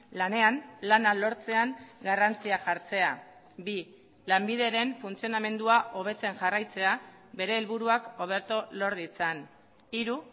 lanean lana lortzean garrantzia jartzea bi lanbideren funtzionamendua hobetzen jarraitzea bere helburuak hobeto lor ditzan hiru